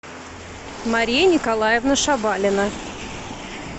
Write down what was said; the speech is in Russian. мария николаевна шабалина